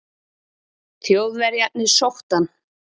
Þjóðverjarnir sóttu hann.